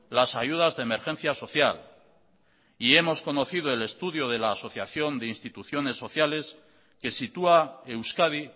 las ayudas de emergencia social y hemos conocido el estudio de la asociación de instituciones sociales que sitúa euskadi